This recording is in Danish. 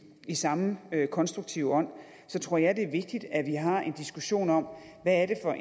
samme konstruktive ånd tror jeg det er vigtigt at vi har en diskussion om hvad det er